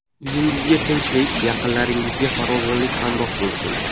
Uyingizga tinchlik, yaqinlaringizga farovonlik hamroh bo‘lsin!